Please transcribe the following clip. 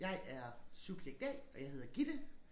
Jeg er subjekt A og jeg hedder Gitte